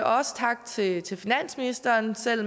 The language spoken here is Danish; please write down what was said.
også tak til til finansministeren selv